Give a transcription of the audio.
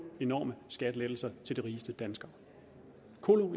enorme skattelettelser til de rigeste danskere